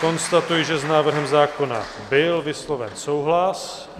Konstatuji, že s návrhem zákona byl vysloven souhlas.